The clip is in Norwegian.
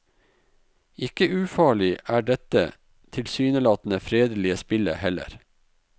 Ikke ufarlig er dette tilsynelatende fredelige spillet heller.